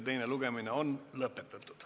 Teine lugemine on lõpetatud.